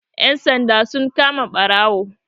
Ƴan sanda sun kama ɓarawo